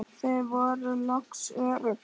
Þau voru loks örugg.